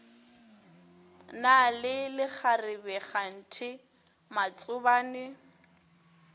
na le lekgarebe kganthe matsobane